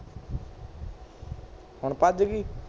ਹੁਣ ਭੱਜ ਗਈ